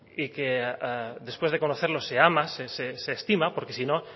y que después de conocerlo se ama se estima porque si no